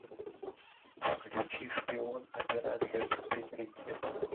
включи шпион операция под прикрытием